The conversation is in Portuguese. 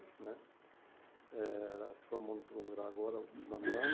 Né Ela se formou no segundo grau agora, no final do ano.